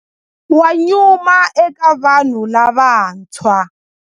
Wa nyuma eka vanhu lavantshwa.